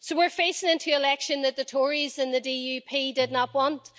So we are facing an election that the Tories and the DUP did not want